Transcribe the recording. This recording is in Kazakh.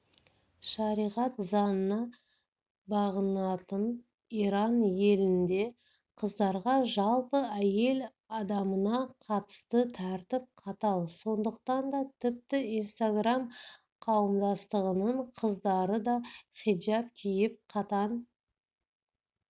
шариғат заңына бағынатын иран елінде қыздарға жалпы әйел адамына қатысты тәртіп қатал сондықтан да тіпті инстаграм-қауымдастығының қыздары да хиджаб киіп қатаң